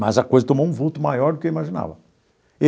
Mas a coisa tomou um vulto maior do que eu imaginava.